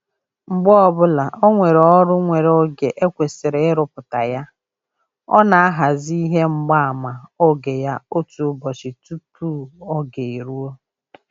Mgbe ọbụla o nwere ọrụ nwere oge e kwesịrị ịrụpụta ya, ọ na-ahazi ihe mgbaama oge ya otu ụbọchị tụpụ oge eruo